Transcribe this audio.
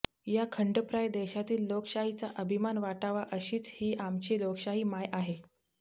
या खंडप्राय देशातील लोकशाहीचा अभिमान वाटावा अशीच ही आमची लोकशाही माय आहे